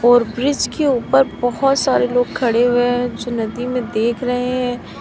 और ब्रिज के ऊपर बहोत सारे लोग खड़े हुए हैं जो नदी में देख रहे हैं।